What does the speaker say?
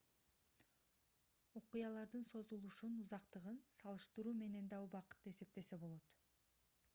окуялардын созулушун узактыгын салыштыруу менен да убакытты эсептесе болот